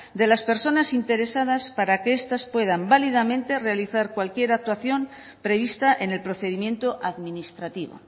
de las personas interesadas para que estas puedan válidamente realizar cualquier actuación prevista en el procedimiento administrativo